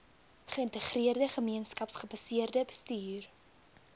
geïntegreerde gemeenskapsgebaseerde bestuur